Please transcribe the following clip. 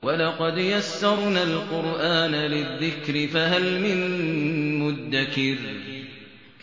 وَلَقَدْ يَسَّرْنَا الْقُرْآنَ لِلذِّكْرِ فَهَلْ مِن مُّدَّكِرٍ